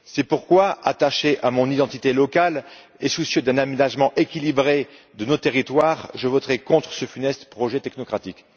C'est pourquoi, attaché à mon identité locale et soucieux d'un aménagement équilibré de nos territoires, je voterai contre ce funeste projet technocratique.